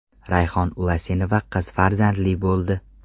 Rayhon Ulasenova qiz farzandli bo‘ldi.